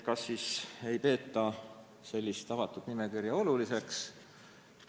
Kas siis avatud nimekirja ei peeta oluliseks?